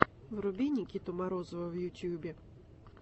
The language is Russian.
вруби никиту морозова в ютубе